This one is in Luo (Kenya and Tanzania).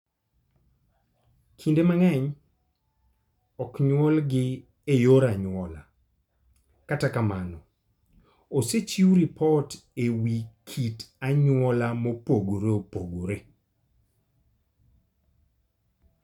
Kinde mang'eny, ok nyuolgi e yor anyuola, kata kamano, osechiw ripot e wi kit anyuola mopogore opogore.